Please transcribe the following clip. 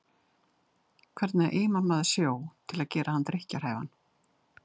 Hvernig eimar maður sjó til að gera hann drykkjarhæfan?